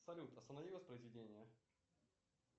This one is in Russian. салют останови воспроизведение